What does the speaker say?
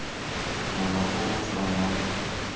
mola o o tshwanang o